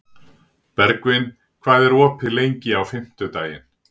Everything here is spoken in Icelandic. Bergvin, hvað er opið lengi á fimmtudaginn?